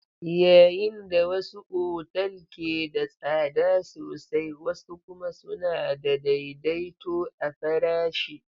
Yayin da wasu otal ke da tsada sosai, wasu kuma suna da daidaito a farashi.